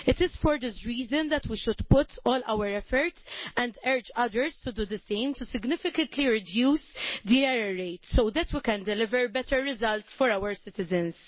It is for this reason that we should put all our efforts, and urge others to do the same, into significantly reducing the error rate so that we can deliver better results for our citizens.